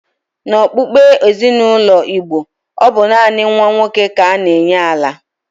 N'okpukpe ezinaụlọ Igbo, ọ bụ naanị nwa nwoke ka a na-enye ala.